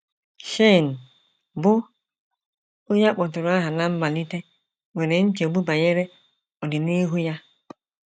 Shane, bụ́ onye a kpọtụrụ aha ná mmalite, nwere nchegbu banyere ọdịnihu ya.